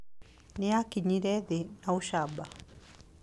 Nĩ aakinyire thĩ na ũcamba.